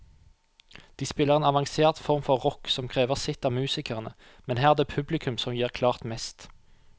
De spiller en avansert form for rock som krever sitt av musikerne, men her er det publikum som gir klart mest.